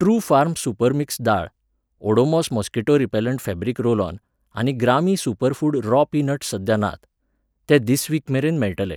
Truefarm super mix दाळ, Odomos mosquito repellent fabric roll on आनी Grami superfood raw peanuts सध्या नात, ते धिस वीकमेरेन मेळटले.